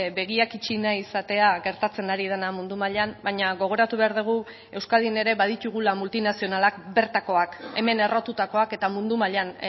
begiak itxi nahi izatea gertatzen ari dena mundu mailan baina gogoratu behar dugu euskadin ere baditugula multinazionalak bertakoak hemen errotutakoak eta mundu mailan